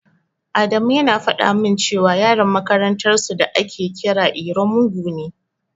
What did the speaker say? Adamu yana faɗa min cewa Yaron makarantar su da ake kira iro mugu ne.